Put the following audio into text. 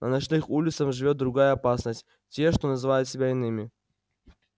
на ночных улицах живёт другая опасность те что называют себя иными